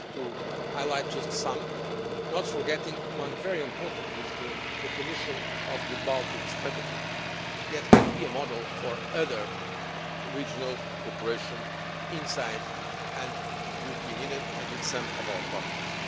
I would like to highlight just some, not forgetting one very important one, the definition of the Baltic Strategy, which can be a model for other regional cooperation inside the European Union and with some of our partners.